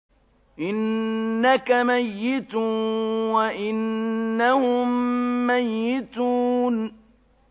إِنَّكَ مَيِّتٌ وَإِنَّهُم مَّيِّتُونَ